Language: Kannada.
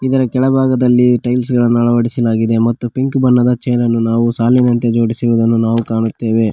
ಇದರ ಕೆಳಭಾಗದಲ್ಲಿ ಟೈಲ್ಸ್ ಗಳನ್ನು ಅಳವಡಿಸಲಾಗಿದೆ ಮತ್ತು ಪಿಂಕ್ ಬಣ್ಣದ ಚೇರನ್ನು ನಾವು ಸಾಲಿನಂತೆ ಜೋಡಿಸಿರುವುದನ್ನು ನಾವು ಕಾಣುತ್ತೇವೆ.